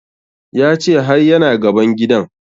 Ya ce har ya na gaban gidan